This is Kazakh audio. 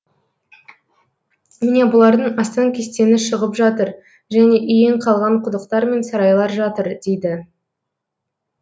міне бұлардың астан кестеңі шығып жатыр және иен қалған құдықтар мен сарайлар жатыр дейді